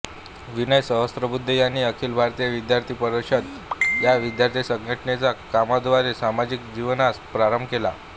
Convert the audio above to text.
विनय सहस्रबुद्धे यांनी अखिल भारतीय विद्यार्थी परिषद या विद्यार्थी संघटनेच्या कामाद्वारे सामाजिक जीवनास प्रारंभ केला